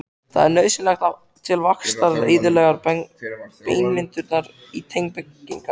Það er nauðsynlegt til vaxtar, eðlilegrar beinmyndunar og tannbyggingar.